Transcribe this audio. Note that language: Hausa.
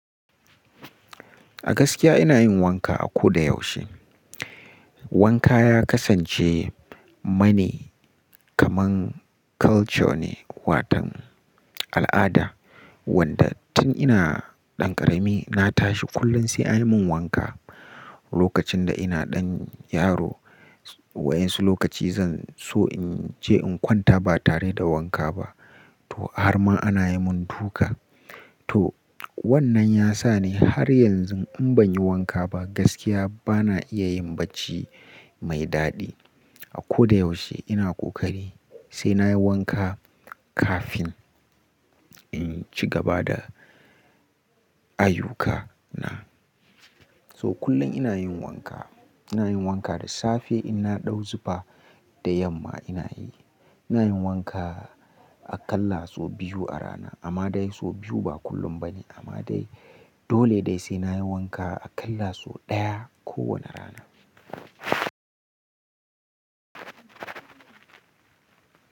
A gaskiya ina yin wanka a ko da yaushe. Wanka ya kasance mani kamar culture ne, watan al'ada wanda tun ina ɗan ƙarami na tashi kullum sai an yi mun wanka. Lokacin da ina ɗan yaro, waɗansu lokaci zan so in je in kwanta ba tare da wanka ba to har ma ana yi mun duka. To wannan ya sa ni har yanzu in ban yi wanka ba gaskiya ba na iya yin bacci mai daɗi. A ko da yaushe ina ƙoƙari sai na yi wanka kafin in ci gaba da ayyukana. So kullum ina yin wanka, ina yin wanka da safe in na ɗau zufa da yamma ina yi. Ina yin wanka aƙalla so biyu a rana, amma dai so biyu ba kullum ba ne amma dai dole dai sai na yi wanka aƙalla so ɗaya kowane rana.